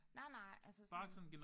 Nej nej altså sådan